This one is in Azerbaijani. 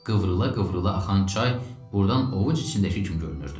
Qıvrıla-qıvrıla axan çay burdan ovuc içindəki kimi görünürdü.